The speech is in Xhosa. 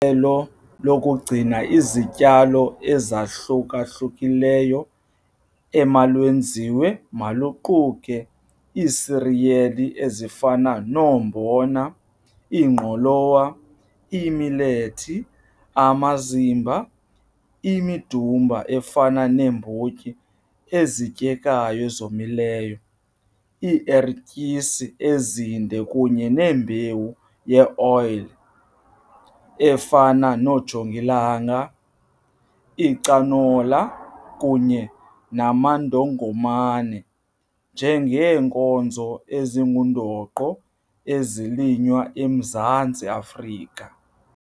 Elo lokugcina izityalo ezahluka-hlukileyo omalwenziwe maluquke iisiriyeli ezifana noombona, ingqolowa, imilethi, amazimba, imidumba efana neembotyi ezityekayo ezomileyo, iiertyisi ezinde kunye neembewu yeoyile efana noojongilanga, icanola kunye namandongomane njengeenkozo ezingundoqo ezilinywa eMzantsi Afrika.